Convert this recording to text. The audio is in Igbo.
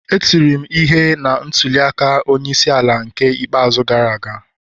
E tiri m ihe na ntuli aka onye isi ala n'ke ikpeazụ gara aga